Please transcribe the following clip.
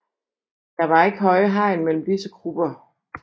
Der var ikke høje hegn mellem disse grupper